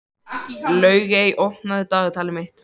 Laugey, opnaðu dagatalið mitt.